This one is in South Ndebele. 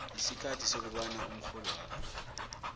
isikhathi sokobana umrholwakho